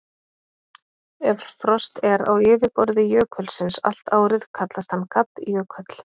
Ef frost er á yfirborði jökulsins allt árið kallast hann gaddjökull.